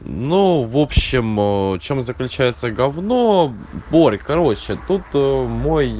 ну в общем в чём заключается говно борь короче тут мой